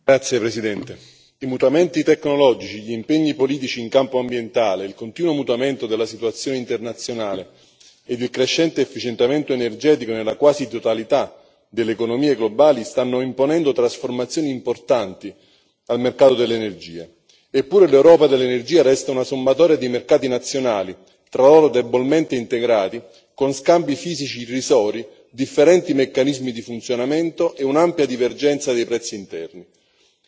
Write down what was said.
Signor Presidente, onorevoli colleghi, i mutamenti tecnologici, gli impegni politici in campo ambientale, il continuo mutamento della situazione internazionale e il crescente efficientamento energetico nella quasi totalità delle economie globali stanno imponendo trasformazioni importanti al mercato dell'energia. Eppure l'Europa dell'energia resta una sommatoria di mercati nazionali tra loro debolmente integrati, con scambi fisici irrisori, differenti meccanismi di funzionamento e un'ampia divergenza dei prezzi interni.